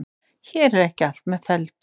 Hér er ekki allt með felldu.